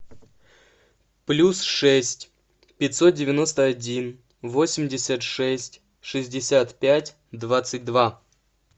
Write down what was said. плюс шесть пятьсот девяносто один восемьдесят шесть шестьдесят пять двадцать два